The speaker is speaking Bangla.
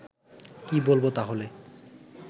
কী বলব তাহলে